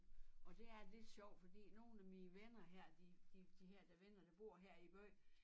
Og det er lidt sjovt fordi nogen af mine venner her de de her der venner der bor her i æ by